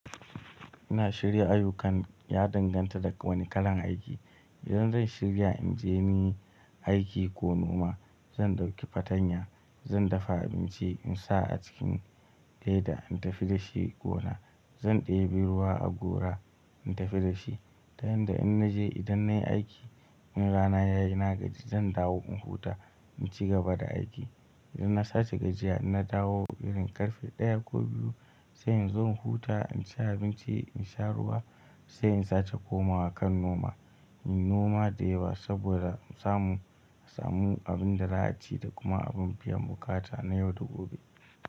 Ina shirya ayukan ya danganta da wane kalan aiki. Idan zan shirya in je ni aiki ko noma, zan ɗauki fatanya, zan dafa abinci in sa a cikin leda in tafi da shi gona. Zan ɗebe ruwa a gora in tafi da shi. Ta yanda in naje idan nayi aiki, in rana yayi na gaji zan dawo in huta in ci gaba da aiki. Idan na sace gajiya, na dawo irin ƙarfe ɗaya ko biyu sai in zo in huta, in ci abinci, in sha ruwa sai in sace komawa kan noma. In noma da yawa saboda in samu, in samu abin da za a ci da kuma abin biyan buƙata na yau da gobe.